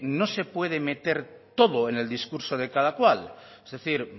no se puede meter todo en el discurso de cada cual es decir